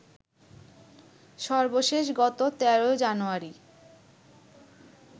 সর্বশেষ গত ১৩ জানুয়ারি